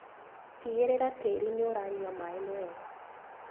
Tigĩrĩra tĩri nĩũranyua maĩ wega.